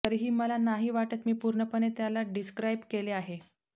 तरीही मला नाही वाटत मी पूर्णपणे त्याला डिस्क्राईब केले आहे